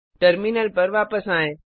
terminal पर वापस आएँ